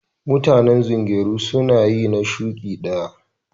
Mutanen zungeru su na yi na shuki daya.